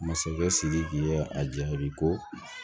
Masakɛ sidiki ye a jaabi ko